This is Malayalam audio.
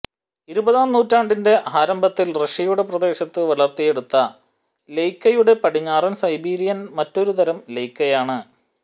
ഇരുപതാം നൂറ്റാണ്ടിന്റെ ആരംഭത്തിൽ റഷ്യയുടെ പ്രദേശത്ത് വളർത്തിയെടുത്ത ലെയ്കയുടെ പടിഞ്ഞാറൻ സൈബീരിയൻ മറ്റൊരുതരം ലെയ്കയാണ്